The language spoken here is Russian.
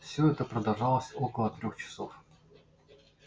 всё это продолжалось около трёх часов